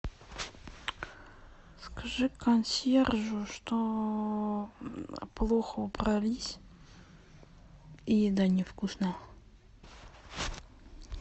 скажи консьержу что плохо убрались и еда невкусная